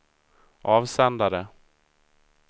avsändare